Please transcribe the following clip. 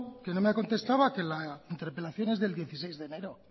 que no me ha contestado que la interpelación es del dieciséis de enero